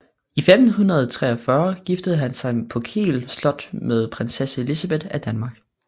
I 1543 giftede han sig på Kiel slot med prinsesse Elisabeth af Danmark